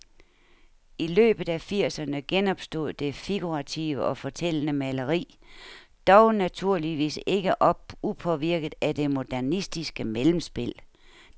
I løbet af firserne genopstod det figurative og fortællende maleri, dog naturligvis ikke upåvirket af det modernistiske mellemspil.